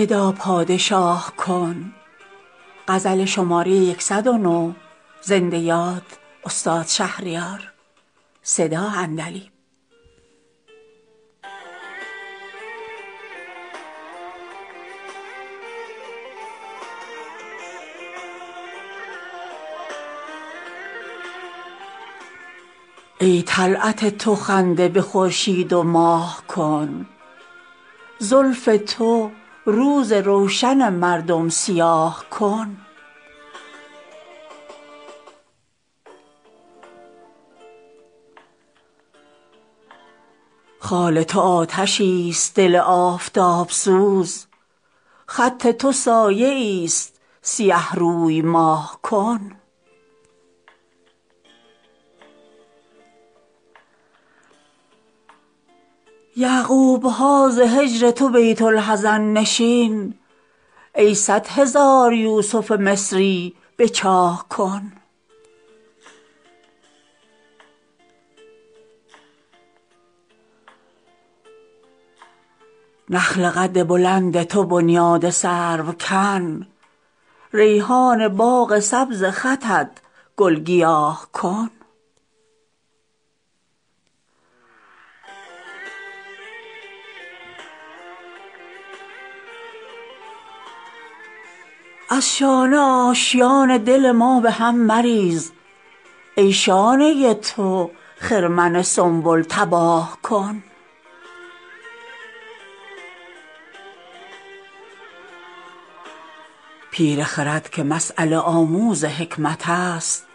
ای طلعت تو خنده به خورشید و ماه کن زلف تو روز روشن مردم سیاه کن خال تو آتشی است دل آفتاب سوز خط تو سایه ای است سیه روی ماه کن یعقوب ها ز هجر تو بیت الحزن نشین ای صدهزار یوسف مصری به چاه کن نخل قد بلند تو بنیاد سرو کن ریحان باغ سبز خطت گل گیاه کن هرگز نرفته است به سر ماه را کلاه ای خود در این میان سر ما بی کلاه کن از شانه آشیان دل ما به هم مریز ای شانه تو خرمن سنبل تباه کن پیر خرد که مسیله آموز حکمت است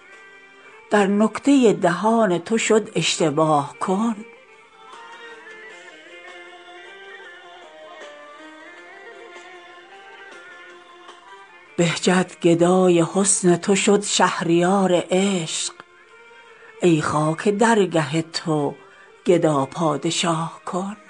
در نکته دهان تو شد اشتباه کن کارم ز عشق تو به جز افغان و آه نیست ای کار عاشقان خود افغان و آه کن بهجت گدای حسن تو شد شهریار عشق ای خاک درگه تو گدا پادشاه کن